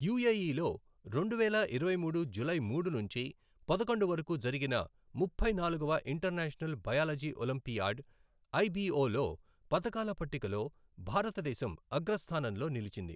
యూఏఈలో రెండువేల ఇరవై మూడు జూలై మూడు నుంచి పదకొండు వరకు జరిగిన ముప్పై నాలుగవ ఇంటర్నేషనల్ బయాలజీ ఒలింపియాడ్, ఐబీఓ లో పతకాల పట్టికలో భారతదేశం అగ్రస్థానంలో నిలిచింది.